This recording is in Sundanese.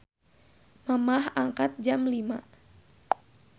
Mamah angkat jam 05.00